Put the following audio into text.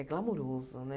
É glamouroso, né?